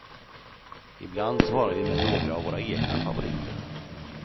Ibland svarade vi med några av våra egna favoriter.